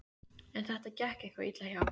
En þetta gekk eitthvað illa hjá